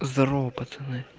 здорово пацаны